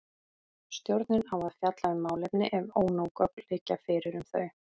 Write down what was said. Stjórnin á að fjalla um málefni ef ónóg gögn liggja fyrir um þau.